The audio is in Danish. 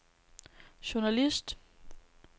journalist